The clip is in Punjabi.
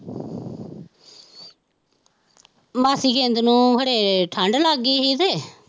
ਮਾਸੀ ਗਿੰਦ ਨੂੰ ਹੜੇ ਠੰਡ ਲੱਗ ਗਈ ਡੇ